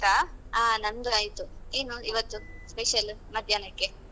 ಹ ನಂದು ಆಯ್ತು ಏನು ಇವತ್ತು special ಮಧ್ಯಾಹ್ನಕ್ಕೆ?